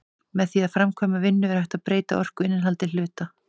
Með því að framkvæma vinnu er hægt að breyta orkuinnihaldi hluta.